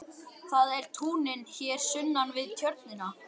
Það eru túnin hér sunnan við Tjörnina.